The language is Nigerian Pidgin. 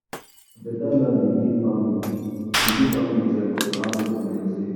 omo beta land dey give family dey give family joy cuz harvest go plenty.